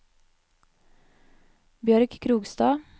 Bjørg Krogstad